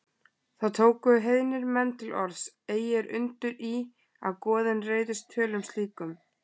Þá tóku heiðnir menn til orðs: Eigi er undur í, að goðin reiðist tölum slíkum